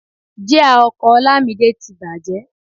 Jia ọkọ̀ Olamide ti bàjẹ́